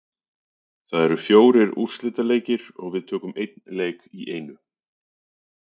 Það eru fjórir úrslitaleikir og við tökum einn leik í einu.